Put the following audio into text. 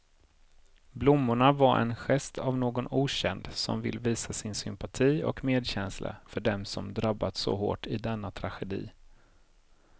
Blommorna var en gest av någon okänd som vill visa sin sympati och medkänsla för dem som drabbats så hårt i denna tragedi.